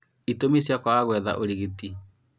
Itũmi cia kwaga gwetha ũrigiti